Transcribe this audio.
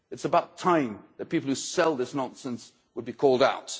It's about time for people who sell this nonsense to be called out.